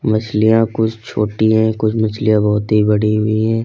मछलियां कुछ छोटी है कुछ मछलियां बहोत ही बड़ी हुई है।